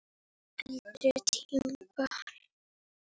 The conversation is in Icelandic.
Eldri tímabil